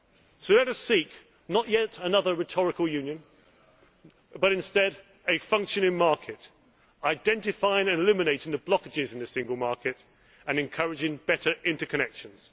So let us not seek yet another rhetorical Union, but instead a functioning market identifying and eliminating the blockages in the single market and encouraging better interconnections.